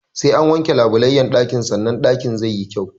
Sai an wanke labulayyan ɗakin sanan ɗakin zai yi kyau.